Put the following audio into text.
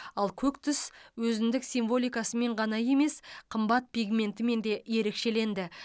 ал көк түс өзіндік символикасымен ғана емес қымбат пигментімен де ерекшеленді